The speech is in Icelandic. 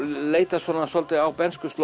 leita svona svolítið á